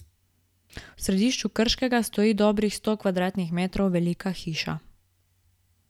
V središču Krškega stoji dobrih sto kvadratnih metrov velika hiša.